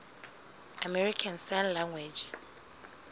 american sign language